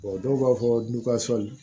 dɔw b'a fɔ